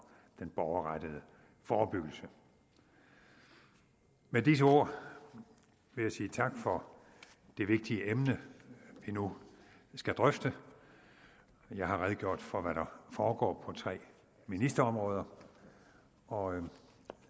den borgerrettede forebyggelse med disse ord vil jeg sige tak for det vigtige emne vi nu skal drøfte jeg har redegjort for hvad der foregår på tre ministerområder og